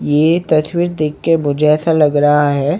ये तस्वीर देख के मुझे ऐसा लग रहा हैं।